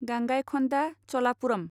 गांगायखन्दा चलापुरम